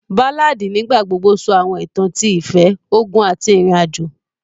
Báládì nígbà gbogbo sọ àwọn ìtàn ti ìfẹ́, ogun àti ìrìnàjò